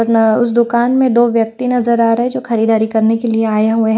वरना उस दुकान में दो व्यक्ति नजर आ रहा है जो खरीदारी करने के लिए आए हुए हैं।